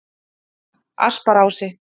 Asparási